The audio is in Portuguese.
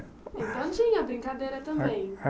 Então tinha brincadeira também.